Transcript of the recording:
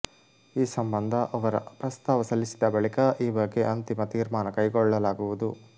ಈ ಸಂಬಂಧ ಅವರ ಪ್ರಸ್ತಾವ ಸಲ್ಲಿಸಿದ ಬಳಿಕ ಈ ಬಗ್ಗೆ ಅಂತಿಮ ತೀರ್ಮಾನ ಕೈಗೊಳ್ಳಲಾಗುವುದು